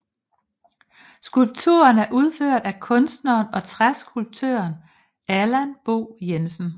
Skulpturen er udført af kunstneren og træskulptøren Allan Bo Jensen